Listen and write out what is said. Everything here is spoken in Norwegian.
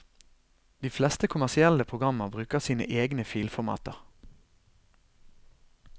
De fleste kommersielle programmer bruker sine egne filformater.